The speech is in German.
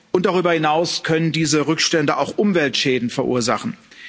und darüber hinaus können diese Rückstände auch Umweltschäden verursachen.